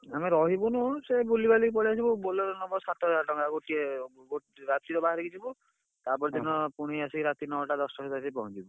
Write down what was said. ଆମେ ରହିବୁନୁ। ସେ ବୁଲିବାଲିକି ପଳେଇଆସିବୁ। Bolero ନବ ସାତହଜାର ଟଙ୍କା ଗୋଟିଏ ରାତିରେ ବାହାରିକି ଯିବୁ। ତା ପର ଦିନ ପୁଣି ଆସିକି ରାତି ନଅଟା ଦଶଟା ବେଳକୁ ଆସି ପହଁଞ୍ଚିବୁ।